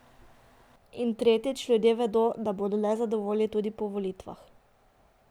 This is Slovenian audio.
In tretjič, ljudje vedo, da bodo nezadovoljni tudi po volitvah.